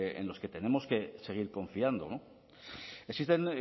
en los que tenemos que seguir confiando existen